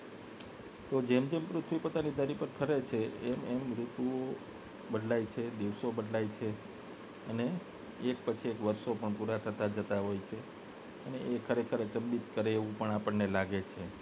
જેમ જેમ પૃથ્વી પોતાની ધરી પર ફરે છે એમ એમ ઋતુઓ બદલાય છે દિવસો બદલાય છે અને એક પછી એક વર્ષો પણ પૂરા થતા થતાં છે એ ખરેખર અચંબિત કરે એવું પણ લાગે છે